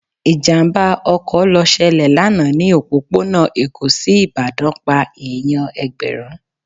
Ìjàmbá ọkọ̀ lọ ṣẹlẹ̀ lánàá ni òpópónà Èkó sí Ìbàdàn pá èèyàn Ẹ̀gbẹ̀rún.